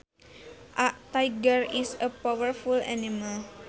A tiger is powerful animal